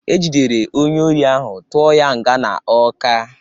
Ejidere onye ohi ahụ tụọ ya nga na Ọka.